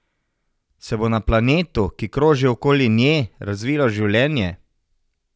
Se bo na planetu, ki kroži okoli nje, razvilo življenje?